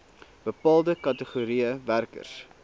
bepaalde kategorieë werkers